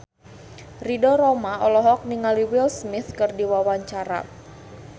Ridho Roma olohok ningali Will Smith keur diwawancara